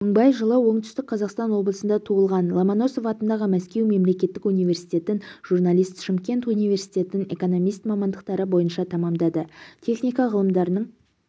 мыңбай жылы оңтүстік қазақстан облысында туылған ломоносов атындағы мәскеу мемлекеттік университетін журналист шымкент университетін экономист мамандықтары бойынша тәмамдады техника ғылымдарының